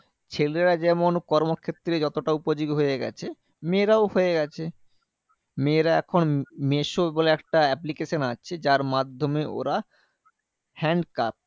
ছেলেরা যেমন কর্মক্ষেত্রে যতটা উপযোগী হয়ে গেছে, মেয়েরাও হয়ে গেছে। মেয়েরা এখন মিশো বলে একটা application আছে যার মাধ্যমে ওরা hand craft